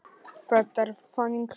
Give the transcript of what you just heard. Þetta er þannig saga.